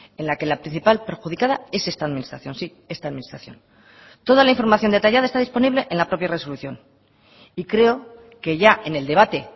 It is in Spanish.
en la que la principal perjudicada es esta administración sí esta administración toda la información detallada está disponible en la propia resolución y creo que ya en el debate